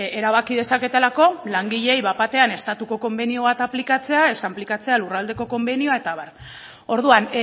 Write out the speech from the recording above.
erabaki dezaketelako langileei bat batean estatuko konbenio bat aplikatzea ez aplikatzea lurraldeko konbenioa eta abar orduan